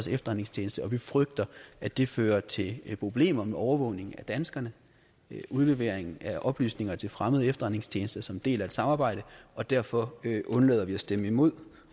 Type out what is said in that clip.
efterretningstjeneste og vi frygter at det fører til problemer med overvågning af danskerne udlevering af oplysninger til fremmede efterretningstjenester som en del af et samarbejde og derfor undlader vi at stemme imod